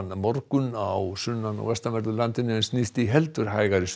morgun á sunnan og vestanverðu landinu en snýst í heldur hægari